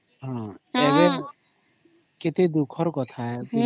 ହଁ କେତେ ଦୁଃଖର କଥା ଏବେ